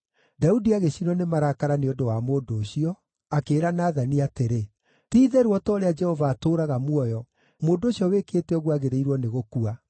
Daudi agĩcinwo nĩ marakara nĩ ũndũ wa mũndũ ũcio, akĩĩra Nathani atĩrĩ, “Ti-itherũ o ta ũrĩa Jehova atũũraga muoyo, mũndũ ũcio wĩkĩte ũguo agĩrĩirwo nĩ gũkua!